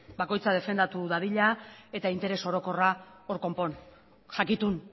bakoitza defendatu dadila eta interes orokorra hor konpon jakitun